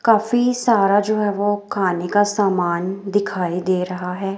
काफी सारा जो है वो खाने का सामान दिखाई दे रहा है।